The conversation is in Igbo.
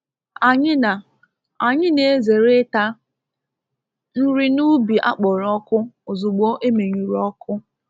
Anyị na Anyị na ezere ịta nri n'ubi akpọrọ ọkụ ozugbo emenyụrụ ọkụ